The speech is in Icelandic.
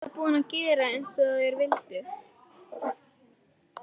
Ég var búin að gera eins og þeir vildu.